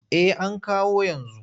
Eh an kawo yanzu.